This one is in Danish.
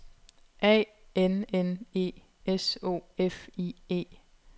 A N N E S O F I E